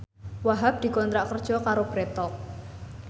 Wahhab dikontrak kerja karo Bread Talk